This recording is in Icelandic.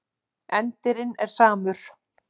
Endirinn er samur.